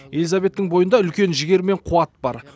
элизабеттің бойында үлкен жігер мен қуат бар